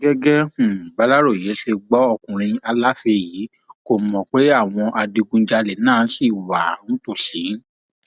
gẹgẹ um bàlàròyé ṣe gbọ ọkùnrin aláfẹ yìí kó mọ pé àwọn adigunjalè náà ṣì wà um nítòsí